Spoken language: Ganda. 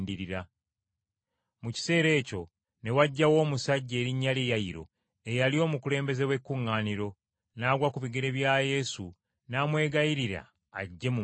Mu kiseera ekyo ne wajjawo omusajja erinnya lye Yayiro, eyali omukulembeze w’ekkuŋŋaaniro, n’agwa ku bigere bya Yesu n’amwegayirira ajje mu maka ge,